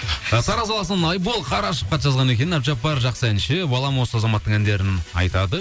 ы тараз қаласынан айбол қарашов хат жазған екен әбдіжаппар жақсы әнші балам осы азаматтың әндерін айтады